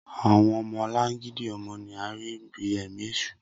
Awọn ọmọlangidi ọmọ ni a rii bi ẹmi eṣu